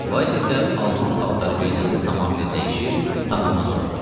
Vays isə alman paltarı geyinəndə tamamilə dəyişir, tanınmaz olurdu.